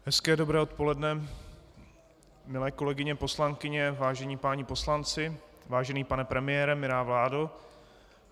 Hezké dobré odpoledne milé kolegyně poslankyně, vážení páni poslanci, vážený pane premiére, milá vládo.